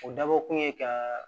O dabɔkun ye ka